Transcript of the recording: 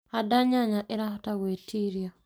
Handa nyanya ĩrahota gwĩtiria